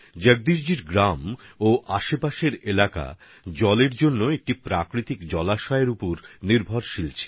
জগদীশজির গ্রাম এবং আশেপাশের এলাকাগুলির জলের প্রয়োজন মিটত এক প্রাকৃতিক জলের উৎস থেকে